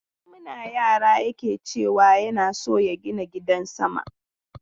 Tun muna yara yake ce wa yana son ya gina gidan sama.